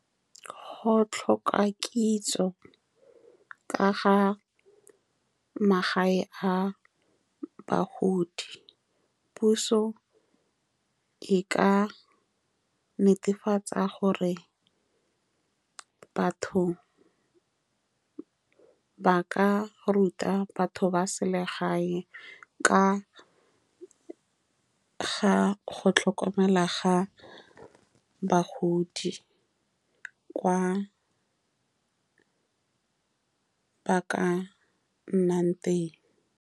Go tlhoka kitso ka ga magae a bagodi. Puso e ka netefatsa gore batho ba ka ruta batho ba selegae ka ga go tlhokomela bagodi, kwa ba ka nnang teng.